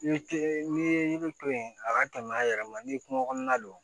Yiri tɛ n'i ye yiri to yen a ka tɛmɛ a yɛrɛ ma n'i ye kungo kɔnɔna don